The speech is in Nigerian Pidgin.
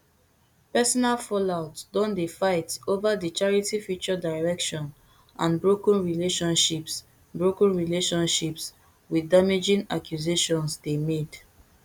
personal fallout don dey fight over di charity future direction and broken relationships broken relationships wit damaging accusations dey made